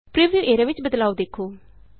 preview area ਵਿਚ ਬਦਲਾਉ ਦੇਖੋ